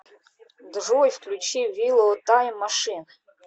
джой включи виллоу тайм машин